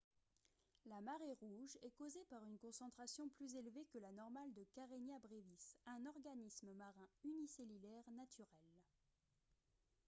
la marée rouge est causée par une concentration plus élevée que la normale de karenia brevis un organisme marin unicellulaire naturel